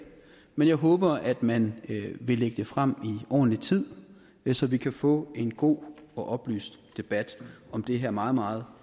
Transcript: men jeg håber at man vil lægge det frem i ordentlig tid så vi kan få en god og oplyst debat om det her meget meget